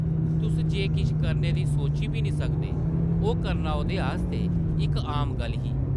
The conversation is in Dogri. तुस जे किश करने दी सोची बी नेईं सकदे, ओह् करना ओह्दे आस्तै इक आम गल्ल ही ।